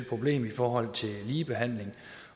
problem i forhold til ligebehandling